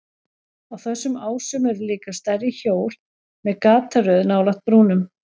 Á þessum ásum eru líka stærri hjól með gataröð nálægt brúnum.